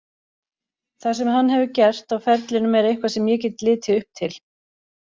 Það sem hann hefur gert á ferlinum er eitthvað sem ég get litið upp til.